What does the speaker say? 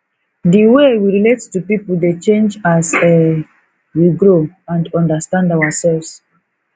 di way we relate to people dey change as um we grow and understand ourselves